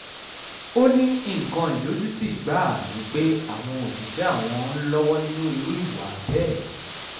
ó ní nǹkan ìdojútì gbáà ni pé àwọn òṣìṣẹ́ àwọn ń lọ́wọ́ nínú irú ìwà bẹ́ẹ̀